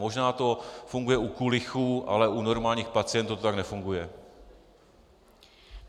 Možná to funguje u kulichů, ale u normálních pacientů to tak nefunguje.